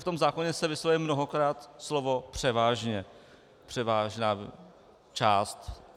V tom zákoně se vyslovuje mnohokrát slovo "převážně, převážná část".